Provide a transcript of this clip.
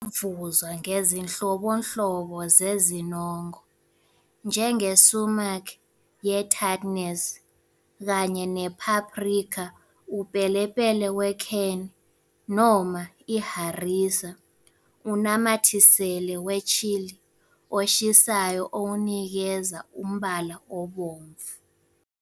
Ingavuzwa ngezinhlobonhlobo zezinongo, njenge-sumac ye-tartness, kanye ne-paprika, upelepele we-cayenne, noma i- harissa, unamathisele we-chili oshisayo owunikeza umbala obomvu.